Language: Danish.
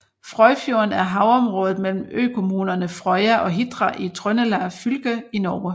Frøyfjorden er havområdet mellem økommunerne Frøya og Hitra i Trøndelag fylke i Norge